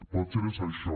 potser és això